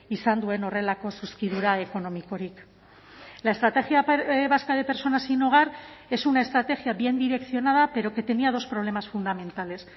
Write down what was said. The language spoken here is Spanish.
izan duen horrelako zuzkidura ekonomikorik la estrategia vasca de personas sin hogar es una estrategia bien direccionada pero que tenía dos problemas fundamentales